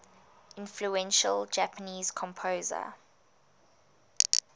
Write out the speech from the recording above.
influential japanese composer